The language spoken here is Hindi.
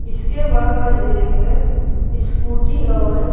इसके बाहर एक स्कूटी और--